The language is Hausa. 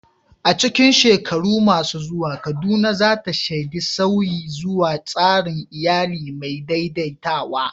A cikin shekaru masu zuwa, Kaduna za ta shaidi sauyi zuwa tsarin iyali mai daidaitawa.